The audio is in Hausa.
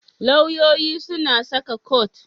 Lauyoyi suna saka kot.